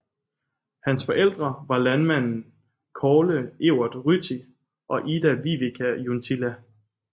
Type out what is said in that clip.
Hans forældre var landmanden Kaarle Evert Ryti og Ida Vivika Junttila